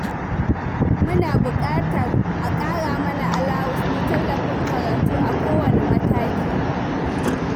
Muna buƙatar a ƙara mana alawus na tallafin karatu a kowane mataki.